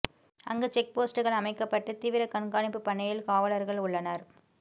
அங்கு செக் போஸ்ட்கள் அமைக்கப்பட்டு தீவிர கண்காணிப்பு பணியில் காவலர்கள் உள்ளனர்